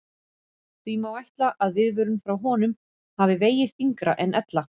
Því má ætla að viðvörun frá honum hafi vegið þyngra en ella.